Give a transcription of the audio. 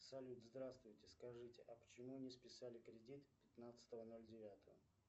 салют здравствуйте скажите а почему не списали кредит пятнадцатого ноль девятого